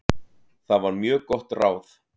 Það var mjög gott ráð.